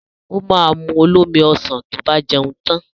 Ó ma mu olómi ọsàn tó bá jẹun tan